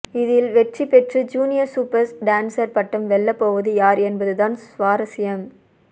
இதில் வெற்றி பெற்று ஜூனியர் சூப்பர் டான்சர் பட்டம் வெல்லப் போவது யார் என்பதுதான் சுவாரஸ்யம்